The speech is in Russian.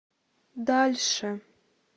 дальше